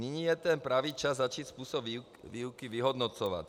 Nyní je ten pravý čas začít způsob výuky vyhodnocovat.